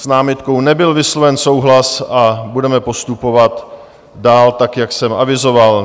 S námitkou nebyl vysloven souhlas a budeme postupovat dál tak, jak jsem avizoval.